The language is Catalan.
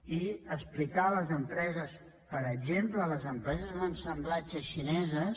i explicar a les empreses per exemple a les empreses d’assemblatge xineses